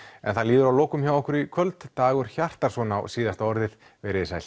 en það líður að lokum hjá okkur í kvöld Dagur Hjartarson á síðasta orðið veriði sæl